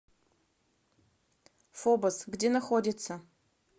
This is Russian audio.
фобос где находится